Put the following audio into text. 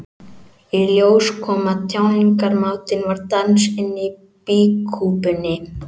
Í ljós kom að tjáningarmátinn var dans inni í býkúpunni.